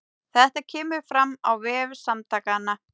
Þetta kemur fram á vef Samtakanna